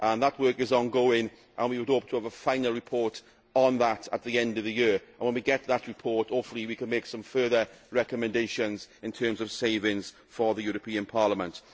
That work is ongoing, and we hope to have the final report on that at the end of the year. When we get that report, hopefully we can make some further recommendations in terms of savings for the European Parliament.